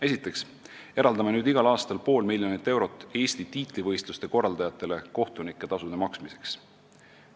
Esiteks eraldame nüüd igal aastal Eesti tiitlivõistluste korraldajatele pool miljonit eurot kohtunike tasude maksmiseks.